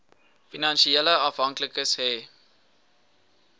finansiële afhanklikes hê